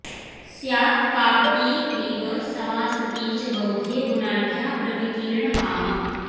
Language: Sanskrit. स्यात् कापटी क्लीब समा सती च बौधे गुणाढ्या प्रविकीर्णकामा